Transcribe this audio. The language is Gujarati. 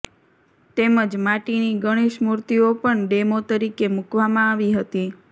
તેમજ માટીની ગણેશ મુર્તિઓ પણ ડેમો તરીકે મુકવામાં આવી હતી